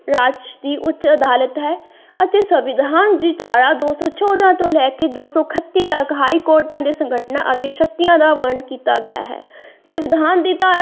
ਰਾਜ ਦੀ ਉੱਚ ਅਦਾਲਤ ਹੈ ਅਤੇ ਸੰਵਿਧਾਨ ਦੀ ਧਾਰਾ ਦੋ ਸੋ ਚੌਦਾਂ ਤੋਂ ਲੈ ਕੇ ਦੋ ਸੀ ਇੱਕਤੀ ਤੱਕ ਹਾਈ ਕੋਰਟ ਦੇ ਸੰਘਰਸ਼ਨਾ ਅਤੇ ਸ਼ਕਤੀਆਂ ਦਾ ਵਰਨਣ ਕੀਤਾ ਗਿਆ ਹੈ ਸੰਵਿਧਾਨ ਦੀ ਧਾਰਾ।